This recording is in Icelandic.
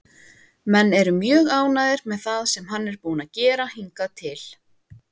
Menn eru mjög ánægðir með það sem hann er búinn að gera hingað til.